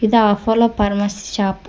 ಇದು Apollo pharmacy shop .